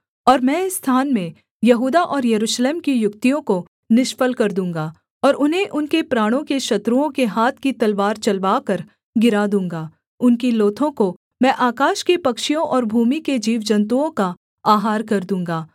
और मैं इस स्थान में यहूदा और यरूशलेम की युक्तियों को निष्फल कर दूँगा और उन्हें उनके प्राणों के शत्रुओं के हाथ की तलवार चलवाकर गिरा दूँगा उनकी लोथों को मैं आकाश के पक्षियों और भूमि के जीवजन्तुओं का आहार कर दूँगा